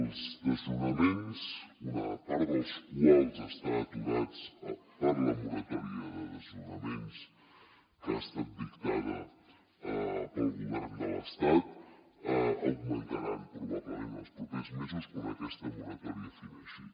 els desnonaments una part dels quals estan aturats per la moratòria de desnonaments que ha estat dictada pel govern de l’estat augmentaran probablement en els propers mesos quan aquesta moratòria fineixi